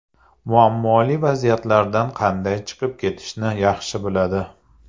Muammoli vaziyatlardan qanday chiqib ketishni yaxshi biladi.